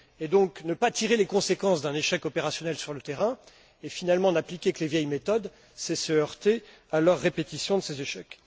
Donc, ne pas tirer les conséquences d'un échec opérationnel sur le terrain et, finalement, n'appliquer que les vieilles méthodes, c'est se heurter à la répétition de ces échecs.